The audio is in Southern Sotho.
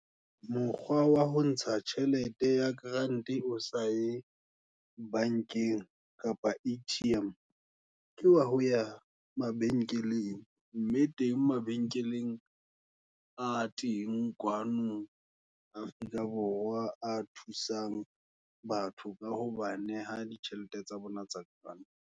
Mokgwa wa ho ntsha tjhelete, ya grant-e o saye bankeng, kapa A_T_M ke wa ho ya mabenkeleng, mme teng mabenkeleng a teng kwano, Afrika Borwa. A thusang batho ka hoba neha ditjhelete, tsa bona tsa ka grant.